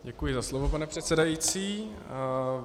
Děkuji za slovo, pane předsedající.